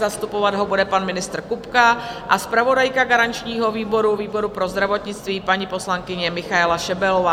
Zastupovat ho bude pan ministr Kupka a zpravodajka garančního výboru, výboru pro zdravotnictví, paní poslankyně Michaela Šebelová.